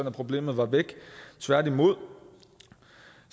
at problemet var væk tværtimod